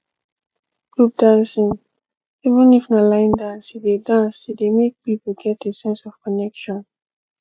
group dancing even if na line dance e dey dance e dey make people get a sense of connection